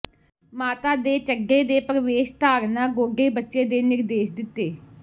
ਮਾਤਾ ਦੇ ਚੱਡੇ ਦੇ ਪ੍ਰਵੇਸ਼ ਧਾਰਨਾ ਗੋਡੇ ਬੱਚੇ ਦੇ ਨਿਰਦੇਸ਼ ਦਿੱਤੇ